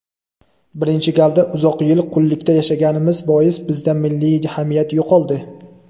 birinchi galda uzoq yil qullikda yashaganimiz bois bizda milliy hamiyat yo‘qoldi.